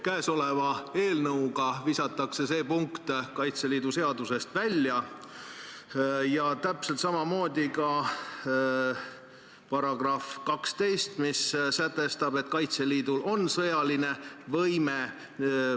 Käesoleva eelnõuga visatakse see punkt Kaitseliidu seadusest välja, samuti § 12, mis sätestab, et Kaitseliidul on sõjaline võime.